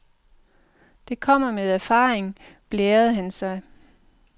Det kommer med erfaringen, blærede han sig.